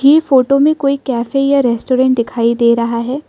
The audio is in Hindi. ये फोटो में कोई कैफ़े या रेस्टोरेंट दिखाई दे रहा है।